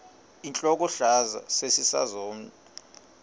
intlokohlaza sesisaz omny